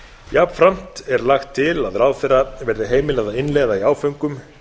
jafnframt er lagt til að ráðherra verði heimilað að innleiða í áföngum